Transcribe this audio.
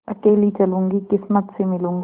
अकेली चलूँगी किस्मत से मिलूँगी